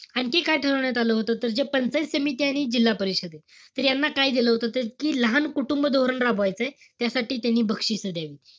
आणखी काय ठरवण्यात आलं होतं? तर जे पंचायत समिती आणि जिल्हा परिषद ए, तर यांना काय दिलं होतं, तर जी लहान कुटुंब धोरण राबवायचय, त्यासाठी त्यांनी बक्षिसं द्यावी.